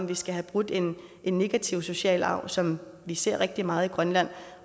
vi skal have brudt en en negativ social arv som vi ser rigtig meget i grønland